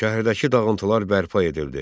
Şəhərdəki dağıntılar bərpa edildi.